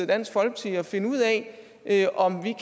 dansk folkeparti og finde ud af om vi